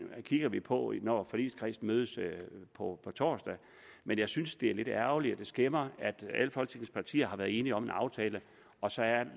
kigger vi på når forligskredsen mødes på torsdag jeg synes det er lidt ærgerligt og at det skæmmer at alle folketingets partier har været enige om en aftale og så